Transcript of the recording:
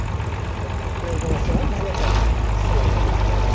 ওলাইকুম আসসালাম ভালো থাকবেন